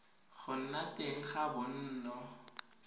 go nna teng ga bonno